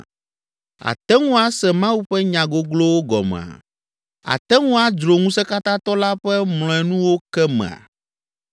“Àte ŋu ase Mawu ƒe nya goglowo gɔmea? Àte ŋu adzro Ŋusẽkatãtɔ la ƒe mlɔenuwo ke mea?